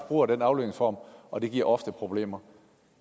bruger den aflønningsform og det giver ofte problemer